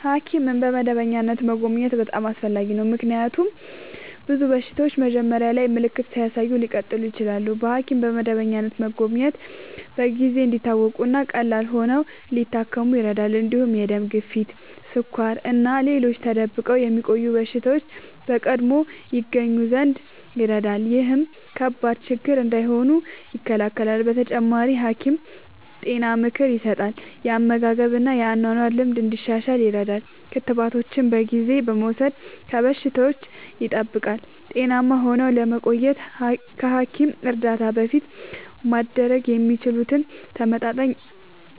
ሐኪምን በመደበኛነት መጎብኘት በጣም አስፈላጊ ነው፤ ምክንያቱም ብዙ በሽታዎች መጀመሪያ ላይ ምልክት ሳያሳዩ ሊቀጥሉ ይችላሉ። በሐኪም በመደበኛነት መጎብኘት ችግሮች በጊዜ እንዲታወቁ እና ቀላል ሆነው ሊታከሙ ይረዳል። እንዲሁም የደም ግፊት፣ ስኳር እና ሌሎች ተደብቆ የሚቆዩ በሽታዎች በቀድሞ ይገኙ ዘንድ ይረዳል። ይህም ከባድ ችግር እንዳይሆኑ ይከላከላል። በተጨማሪ፣ ሐኪም ጤና ምክር ይሰጣል፣ የአመጋገብ እና የአኗኗር ልምድ እንዲሻሻል ይረዳል። ክትባቶችን በጊዜ በመውሰድ ከበሽታዎች ይጠብቃል። ጤናማ ሆነው ለመቆየት ከሐኪም እርዳታ በፊት ማድረግ የሚችሉት፦ ተመጣጣኝ